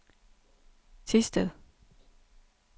Thisted